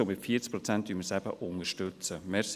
Und mit 40 Prozent unterstützen wir sie eben gerade.